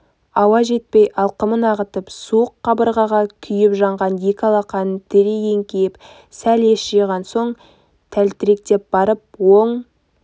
ауа жетпей алқымын ағытып суық қабырғаға күйіп-жанған екі алақанын тірей еңкейіп сәл ес жиған соң тәлтіректеп барып оң